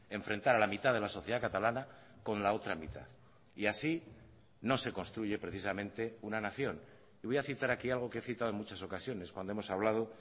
enfrentar a la mitad de la sociedad catalana con la otra mitad y así no se construye precisamente una nación y voy a citar aquí algo que he citado en muchas ocasiones cuando hemos hablado